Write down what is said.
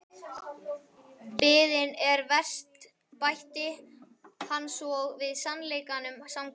Biðin er verst bætti hann svo við sannleikanum samkvæmt.